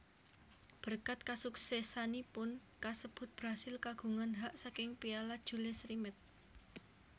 Berkat kasuksesanipun kasebut Brasil kagungan hak saking Piala Jules Rimet